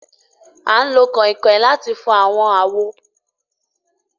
A n lo awọn kánkan láti fò awọn awo